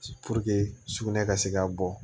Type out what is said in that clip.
sugunɛ ka se ka bɔ